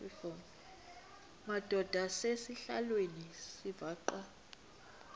madod asesihialweni sivaqal